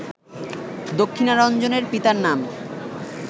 দক্ষিণারঞ্জনের পিতার নাম